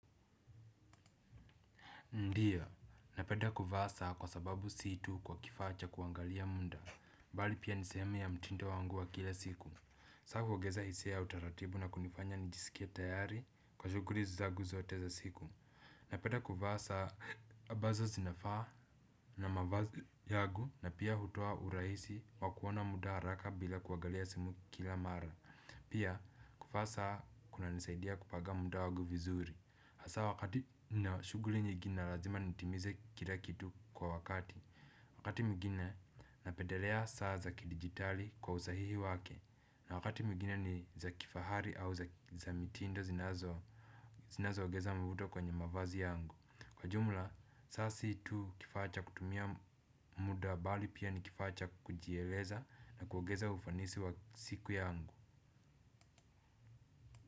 Ndiyo, napneda kuvaa saa kwa sababu si tu kwa kifaa cha kuangalia muda, mbali pia ni sehemu ya mtindo wangu wa kila siku. Saa huongeza hisa ya utaratibu na kunifanya nijisikie tayari kwa shughuli zangu zote za siku. Napenda kuvaa ambazo zinafaa na mavazi yangu na pia hutoa urahisi wa kuona mtu haraka bila kuangalia simu kila mara. Pia kuvaa saa kunanisaidia kupanga muda wangu vizuri. Hasa wakati nina shughuli nyingi na lazima nitimize kila kitu kwa wakati. Wakati mwingine napendelea saa za kidigitali kwa usahihi wake. Na wakati mwigine ni za kifahari au za mitindo zinazo ongeza mvuto kwenye mavazi yangu. Kwa jumla saa si tu kifaa cha kutumia muda bali pia ni kifaa cha kujieleza na kuongeza ufanisi wa siku yangu.